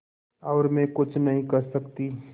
और मैं कुछ नहीं कर सकती